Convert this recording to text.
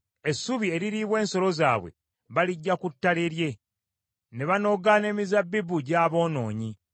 Essubi eririibwa ensolo zaabwe baliggya ku ttale lye, ne banoga n’emizabbibu gy’aboonoonyi.